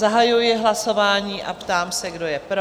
Zahajuji hlasování a ptám se, kdo je pro?